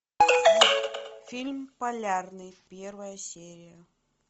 фильм полярный первая серия